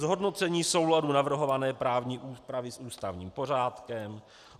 Zhodnocení souladu navrhované právní úpravy s ústavním pořádkem.